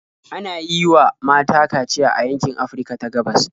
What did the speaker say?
Ana yi wa mata kaciya a yankin Afirka ta gabas.